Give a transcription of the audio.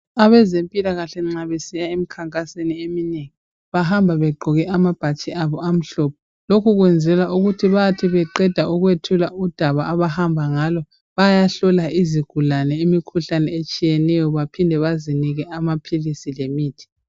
Abezempikahle nxa besiya ekhankasweni eminengi bahamba begqoke amabhatshi abo amhlophe, lokhu kwenzelwa ukuthi bathi beqeda ukwethula udaba abahamba ngalo bayahlola izigulane imikhuhlane etshiyeneyo baphinde bazinike amaphilisi lemithi.